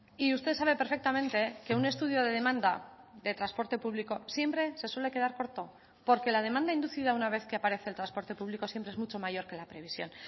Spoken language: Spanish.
y usted sabe perfectamente que un estudio de demanda de transporte público siempre se suele quedar corto porque la demanda inducida una vez que aparece el transporte público siempre es mucho mayor que la previsión